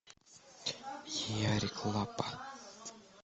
ярик лапа